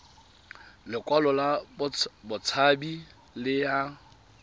lekwalo la botshabi le ya